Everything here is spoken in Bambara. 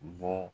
Bɔ